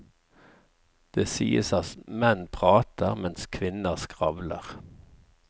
Det sies at menn prater, mens kvinner skravler.